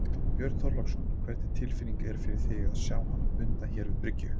Björn Þorláksson: Hvernig tilfinning er fyrir þig að sjá hana bundna hér við bryggju?